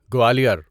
Gwalior